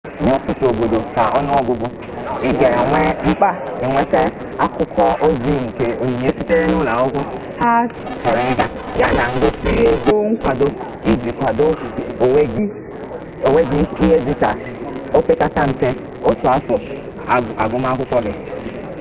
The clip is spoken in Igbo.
nye ututu obodo ka n'onu-ogugu iga enwe mkpa inweta akwukwo-ozi nke onyinye sitere ulo-akwukwo ha choro iga ya na ihe ngosi ego nkwado iji kwadoo onwe gi ihe dika opekata mpe otu afo aguma akwukwo gi